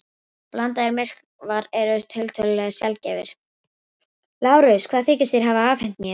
Blandaðir myrkvar eru tiltölulega sjaldgæfir.